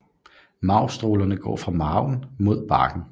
Marvstrålerne går fra marven mod barken